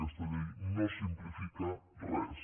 aquesta llei no simplifica res